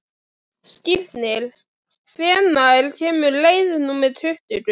Skírnir, hvenær kemur leið númer tuttugu?